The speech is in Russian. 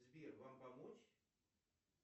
сбер вам помочь